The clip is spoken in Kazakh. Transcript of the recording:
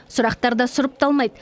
сұрақтар да сұрыпталмайды